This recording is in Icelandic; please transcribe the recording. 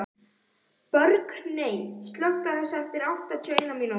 Burkney, slökktu á þessu eftir áttatíu og eina mínútur.